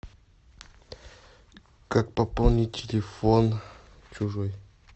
как пополнить телефон чужой